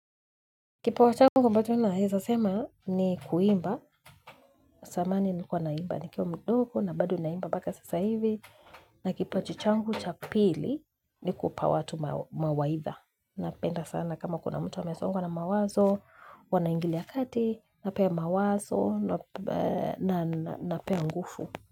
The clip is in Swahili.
Kipa wa changu ambacho naeza sema ni kuimba, samani nilikuwa naimba, ni kiwa mdogo na bado naimba mbaka sasa hivi. Na kipa chi changu chapili ni kupa watu mawaitha. Napenda sana kama kuna mtu amesongwa na mawazo, huwanaingilia kati, napea mawazo, napea ngufu.